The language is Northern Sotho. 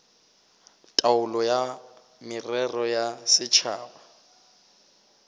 taolo ya merero ya setšhaba